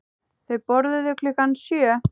Þau borðuðu klukkan sjö.